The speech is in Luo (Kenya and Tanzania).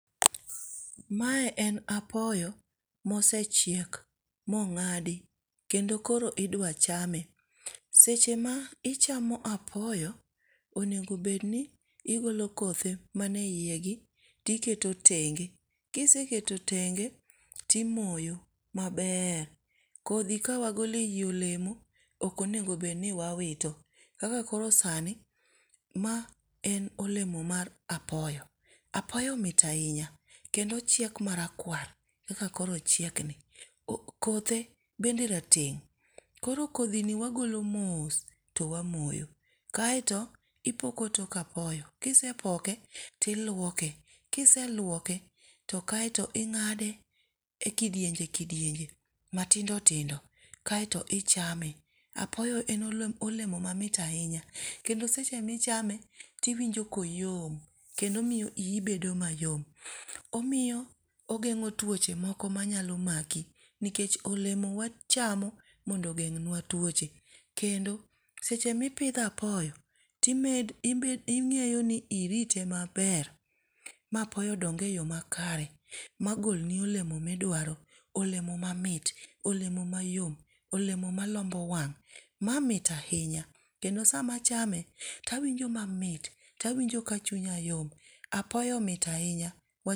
Mae en apoyo mosechiek mongádi. Kendo koro idwa chame. Seche ma ichamo apoyo, onego bed ni igolo kothe mane iye gi, to iketo tenge. Kiseketo tenge timoyo maber. Kodhi ka wagolo ei olemo ok onego bed ni wawito. Kaka koro sani ma en olemo mar apoyo. Apoyo mit ahinya. Kendo ochiek marakwar. Kaka koro ochiekni. Kothe bende rateng'. Koro kodhi ni wagolo mos to wamoyo. Kaeto ipoko tok apoyo. Kisepoke, to ilwoke. Kiselwoke to kaeto ingáde e kidienje kidienje matindo tindo kaeto ichame. Apoyo en olemo mamit ahinya. Kendo seche michame tiwinjo koyom. Kendo omiyo ii bedo mayom. Omiyo ogengó twoche moko manyalo maki. Nikech olemo wachamo mondo ogeng'nwa twoche. Kendo seche mipidho apoyo ingéyo ni irite maber, ma apoyo ondong e yo makare, magolni olemo ma idwaro. Olemo mamit, olemo mayom, olemo malombo wang'. Ma mit ahinya. Kendo sama achame to wainjo mamit, to awinjo ka chunya yom. Apoyo mit ahinya.